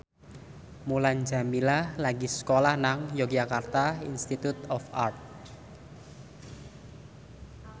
Mulan Jameela lagi sekolah nang Yogyakarta Institute of Art